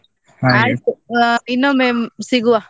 ಅಹ್, ಇನ್ನೊಮ್ಮೆ ಸಿಗುವ?